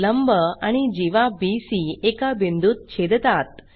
लंब आणि जीवा बीसी एका बिंदूत छेदतात